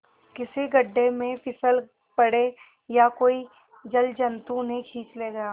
किसी गढ़े में फिसल पड़े या कोई जलजंतु उन्हें खींच ले गया